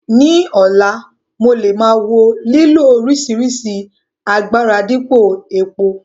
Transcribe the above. Ní ọ̀la, mo lè máa wo lílo oríṣìíríṣìí agbára dípò epo.